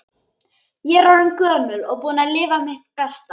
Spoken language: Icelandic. Ég er orðin gömul og búin að lifa mitt besta.